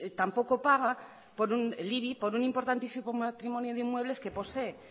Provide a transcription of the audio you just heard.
tampoco paga el ibi por un importantísimo patrimonio de inmuebles que posee